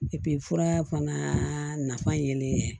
fura fana nafa yelen